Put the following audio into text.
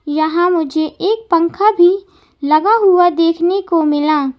यहां मुझे एक पंखा भी लगा हुआ देखने को मिला।